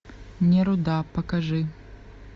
неруда покажи